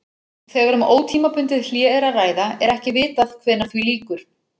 Þegar um ótímabundið hlé er að ræða er ekki vitað hvenær því lýkur.